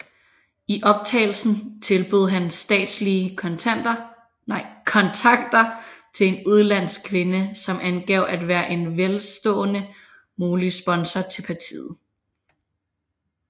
I optagelsen tilbød han statslige kontakter til en udenlandsk kvinde som angav at være en velstående mulig sponsor til partiet